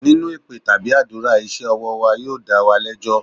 Nínú èpè tàbí àdúrà, iṣẹ́ ọwọ́ wa yóò dá wa lẹ́jọ́.